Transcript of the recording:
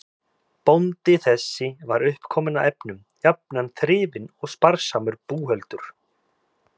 Bóndi þessi var undirkominn af efnum, jafnan þrifinn og sparsamur búhöldur.